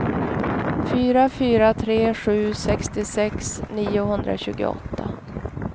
fyra fyra tre sju sextiosex niohundratjugoåtta